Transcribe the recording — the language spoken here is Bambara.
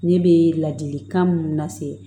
Ne bɛ ladilikan minnu lase